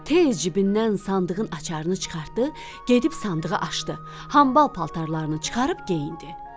Tez cibindən sandığın açarını çıxartdı, gedib sandığı açdı, hambal paltarlarını çıxarıb geyindi.